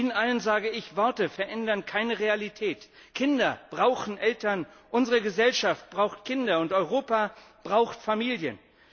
Ihnen allen sage ich Worte verändern keine Realität, Kinder brauchen Eltern, unsere Gesellschaft braucht Kinder, und Europa braucht Familien!